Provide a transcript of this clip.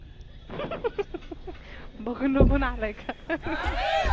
बघू नको